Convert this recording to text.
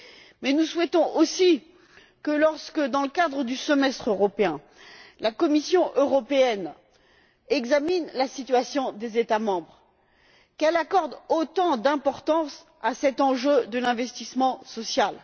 Mais nous souhaitons aussi que lorsque, dans le cadre du semestre européen, la Commission européenne examine la situation des États membres, elle accorde autant d'importance à cet enjeu de l'investissement social.